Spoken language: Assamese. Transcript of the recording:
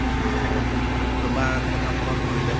to তোমাৰ কথা মনত পৰিলে